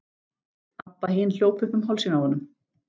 Abba hin hljóp upp um hálsinn á honum.